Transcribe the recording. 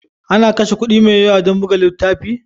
Ana kashe kuɗi mai yawa don buga littafi?